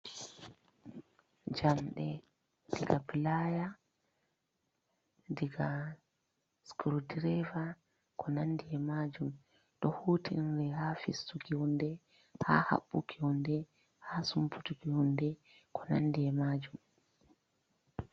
Jamde diga pilaya, diga scrudreve, ko nandey e majum do hutinre ha fistuki hunde, ha haɓɓuki hunde, ha sumpuutuki hunde ko nandee emajum.